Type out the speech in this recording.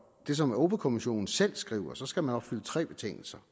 det som europa kommissionen selv skriver skal man opfylde tre betingelser